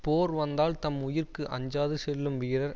போர் வந்தால் தம் உயிர்க்கு அஞ்சாது செல்லும் வீரர்